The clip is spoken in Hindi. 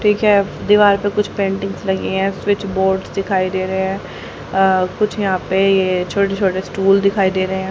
ठीक है दीवार पर कुछ पेंटिंग्स लगी है स्विच बोर्ड दिखाई दे रहे है अ कुछ यहां पे ये छोटे छोटे स्टूल दिखाई दे रहे--